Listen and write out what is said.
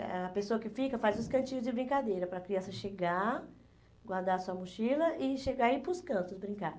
eh a pessoa que fica faz os cantinhos de brincadeira para a criança chegar, guardar sua mochila e chegar e ir para os cantos brincar.